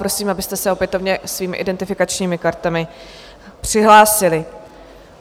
Prosím, abyste se opětovně svými identifikačními kartami přihlásili.